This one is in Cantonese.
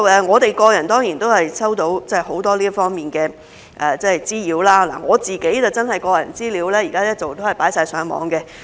我們個人真的收到很多這方面的滋擾，我的個人資料現時一直被放上網。